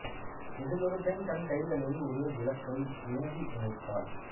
இதில் ஒரு பெண் தன் கைகளில் ஒரு விளக்கை ஏந்தி நிற்பாள்